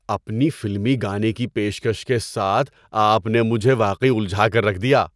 اپنی فلمی گانے کی پیشکش کے ساتھ آپ نےمجھے واقعی الجھا کر رکھ دیا!